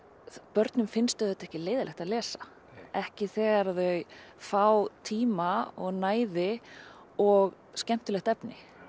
börnum finnst auðvitað ekki leiðinlegt að lesa ekki þegar þau fá tíma og næði og skemmtilegt efni